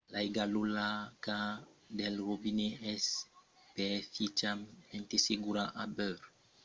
l'aiga locala del robinet es perfièchament segura a beure mas l'aiga en botelha es de bon trobar s'avètz qualques crenhenças